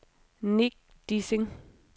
Nick Dissing